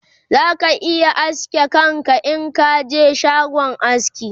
za ka iya aske kanka Inka je shagon aski